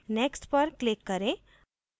next पर click करें